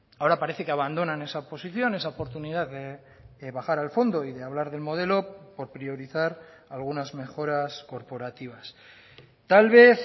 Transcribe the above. ahora parece que abandonan esa posición esa oportunidad de bajar al fondo y de hablar del modelo por priorizar algunas mejoras corporativas tal vez